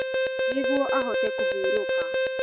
Nĩguo ahote kũhurũka.